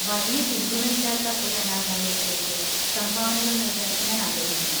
വലിയ പിന്തുണയില്ലാത്ത ഒരു അനാഥാലയത്തിലേക്ക് സംഭാവനകൾ നൽകാൻ ഞാൻ ആഗ്രഹിക്കുന്നു.